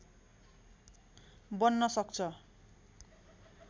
बन्न सक्छ